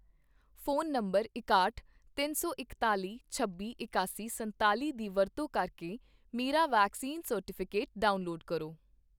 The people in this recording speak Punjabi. ਫ਼ੋਨ ਨੰਬਰ ਇਕਾਹਟ, ਤਿੰਨ ਸੌ ਇਕਤਾਲ਼ੀ, ਛੱਬੀ, ਇਕਾਸੀ, ਸੰਤਾਲ਼ੀ ਦੀ ਵਰਤੋਂ ਕਰਕੇ ਮੇਰਾ ਵੈਕਸੀਨ ਸਰਟੀਫਿਕੇਟ ਡਾਊਨਲੋਡ ਕਰੋ